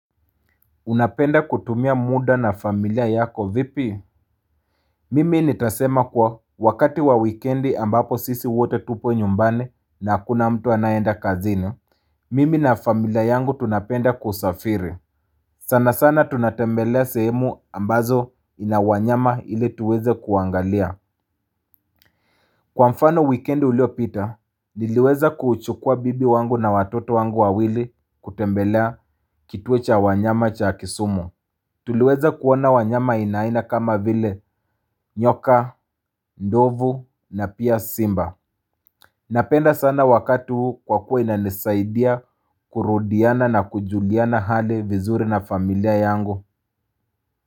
Unapenda kutumia muda na familia yako vipi mimi nitasema kuwa wakati wa wikendi ambapo sisi wote tupo nyumbani na hakuna mtu anayeenda kazini mimi na familia yangu tunapenda kusafiri sana sana tunatembelea sehemu ambazo ina wanyama ili tuweze kuwaangalia kwa mfano, wikendi uliopita niliweza kuchukua bibi wangu na watoto wangu wawili kutembelea kituo cha wanyama cha Kisumu Tuliweza kuona wanyama aina aina kama vile nyoka, ndovu, na pia simba. Napenda sana wakati huu kwa kuwa inanisaidia kurudiana na kujuliana hali vizuri na familia yangu.